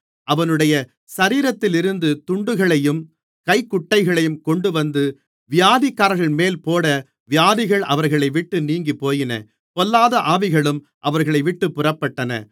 அவனுடைய சரீரத்திலிருந்து துண்டுகளையும் கைக்குட்டைகளையும் கொண்டுவந்து வியாதிக்காரர்கள்மேல் போட வியாதிகள் அவர்களைவிட்டு நீங்கிப்போயின பொல்லாத ஆவிகளும் அவர்களைவிட்டுப் புறப்பட்டன